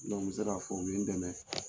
n sera fɔ n ye dɛmɛ.